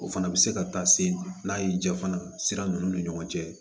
O fana bɛ se ka taa se n'a y'i ja fana sira ninnu ni ɲɔgɔn cɛ